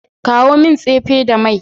Kawo min tsefe da mai.